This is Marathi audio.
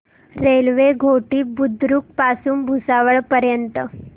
रेल्वे घोटी बुद्रुक पासून भुसावळ पर्यंत